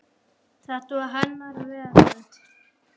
Þetta var hennar veröld.